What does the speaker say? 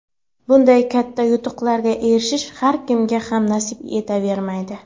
Bunday katta yutuqlarga erishish har kimga ham nasib etavermaydi.